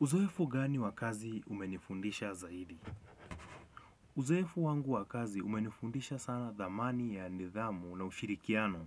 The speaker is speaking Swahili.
Uzoefu gani wa kazi umenifundisha zaidi? Uzoefu wangu wa kazi umenifundisha sana dhamani ya nidhamu na ushirikiano.